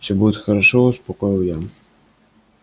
все будет хорошо успокоил я